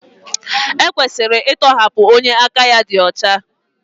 E kwesịrị ịtọhapụ onye aka ya dị ọcha.